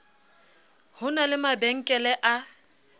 ho na le mabankele a